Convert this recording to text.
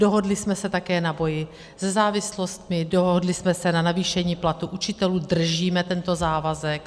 Dohodli jsme se také na boji se závislostmi, dohodli jsme se na navýšení platů učitelů, držíme tento závazek.